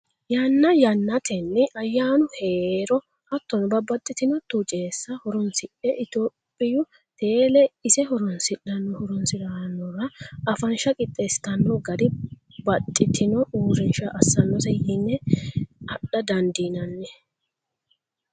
Yanna yannantenni ayyaanu heero hattono babbaxxitino tucesa horonsidhe itophiyu tele ise horonsidhano horonsiranora afansha qixeesittano gari baxxitino uurrisha assanose yine adha dandiinanni.